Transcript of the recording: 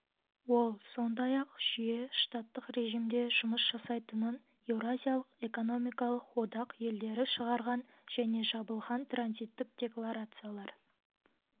ол сондай-ақ жүйе штаттық режимде жұмыс жасайтынын еуразиялық экономикалық одақ елдері шығарған және жабылған транзиттік декларациялар